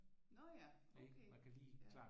Nå ja okay